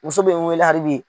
Muso bɛ n wele hali bi.